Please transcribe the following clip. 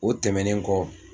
O tɛmɛnen kɔ